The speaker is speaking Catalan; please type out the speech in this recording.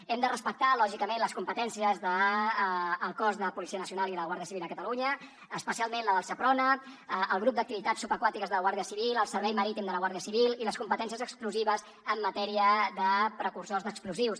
hem de respectar lògicament les competències dels cossos de policia nacional i de la guàrdia civil a catalunya especialment la del seprona el grup d’activitats subaquàtiques de la guàrdia civil el servei marítim de la guàrdia civil i les competències exclusives en matèria de precursors d’explosius